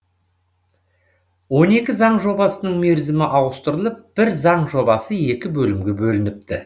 он екі заң жобасының мерзімі ауыстырылып бір заң жобасы екі бөлімге бөлініпті